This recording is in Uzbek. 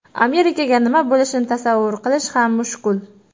Amerikaga nima bo‘lishini tasavvur qilish ham mushkul.